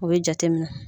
O bɛ jate minɛ